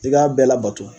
I k'a bɛɛ labato